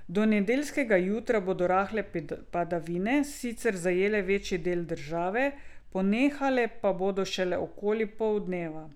Do nedeljskega jutra bodo rahle padavine sicer zajele večji del države, ponehale pa bodo šele okoli poldneva.